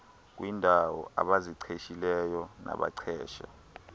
kwiindaw abaziqeshileyo nabaqeshe